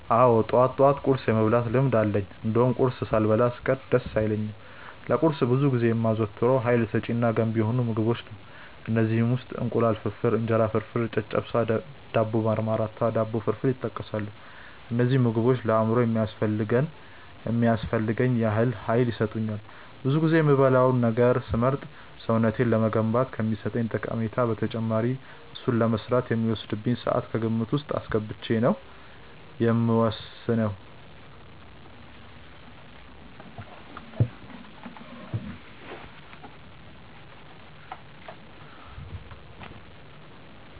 አዎ ጠዋት ጠዋት ቁርስ የመብላት ልምድ አለኝ እንደውም ቁርስ ሳልበላ ስቀር ደስ አይለኝም። ለቁርስ ብዙ ጊዜ የማዘወትረው ሀይል ሰጪ እና ገንቢ የሆኑ ምግቦችን ነው። ከእነዚህም ውስጥ እንቁላል ፍርፍር፣ እንጀራ ፍርፍር፣ ጨጨብሳ፣ ዳቦ በማርማራታ፣ ዳቦ ፍርፍር ይጠቀሳሉ። እነዚህ ምግቦች ለአእምሮዬ የሚያስፈልገኝን ያህል ሀይል ይሰጡኛል። ብዙ ጊዜ የምበላውን ነገር ስመርጥ ሰውነቴን ለመገንባት ከሚሰጠኝ ጠቀሜታ በተጨማሪ እሱን ለመስራት የሚወስድብኝን ስዓት ከግምት ውስጥ አስገብቼ ነው የምወስነው።